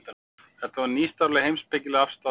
þetta var nýstárleg heimspekileg afstaða á þeim tímum